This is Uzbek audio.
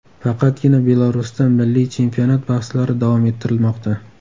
Faqatgina Belarusda milliy chempionat bahslari davom ettirilmoqda .